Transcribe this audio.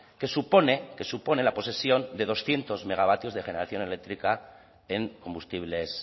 que supone que supone la posesión de doscientos megavatios de generación eléctrica en combustibles